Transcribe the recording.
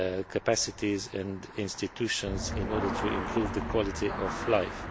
capacities and institutions in order to improve the quality of life.